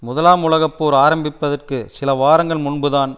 முதலாம் உலக போர் ஆரம்பிப்பதற்கு சில வாரங்கள் முன்பு தான்